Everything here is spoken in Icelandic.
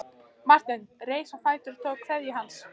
Marteinn reis á fætur og tók kveðju hans.